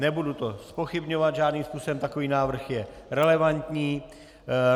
Nebudu to zpochybňovat žádným způsobem, takový návrh je relevantní.